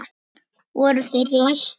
Voru þeir læstir.